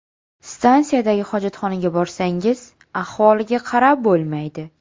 Stansiyadagi hojatxonaga borsangiz, ahvoliga qarab bo‘lmaydi.